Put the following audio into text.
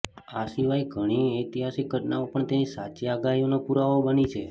આ સિવાય ઘણી ઐતિહાસિક ઘટનાઓ પણ તેની સાચી આગાહીઓનો પુરાવો બની છે